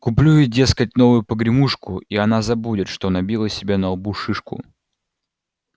куплю ей дескать новую погремушку и она забудет что набила себе на лбу шишку